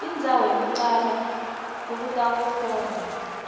indzawo yekucala lokutawuhlolwa